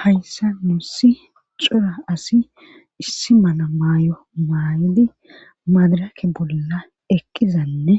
Hayssa nuussi cora asi issi mana maay'o maayodi maadarake bolla ekqizanne